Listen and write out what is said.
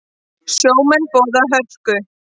Sjómenn boða hörku